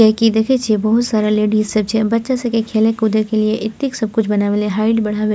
की देखे छीये बहुत सारा लेडीज सब छै बच्चा सबके खेले कूदे के लिए एतेक सब कुछ बना --